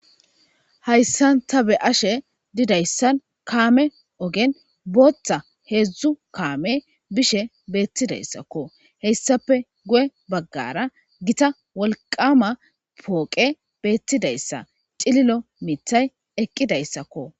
Hayssan ta be ashe didayssan kaame ogen booththa heedzdzu kaame bishe beettidayssakko heyssape go'e baggara gita wolqama pooqe beettidayssa cililo mithay eqqidayssakko.